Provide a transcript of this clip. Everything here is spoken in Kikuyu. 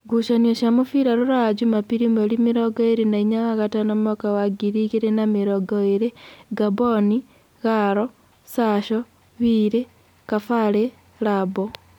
Ngucanio cia mũbira Rũraya Jumapili mweri mĩrongo ĩrĩ na inya wa gatano mwaka wa ngirĩ igĩrĩ na mĩrongo ĩrĩ : Ngamboni, Garo, Sasho, Wili, Kabarĩ, Labo